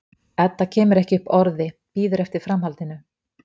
Edda kemur ekki upp orði, bíður eftir framhaldinu.